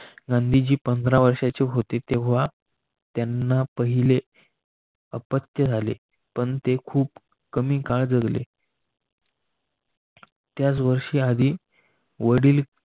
गांधीजी पंधरा वर्षाची होते तेव्हा त्यांना पहिले अपत्य झाले पण ते खूप कमी काळ जगले. त्याच वर्षी आधी वडील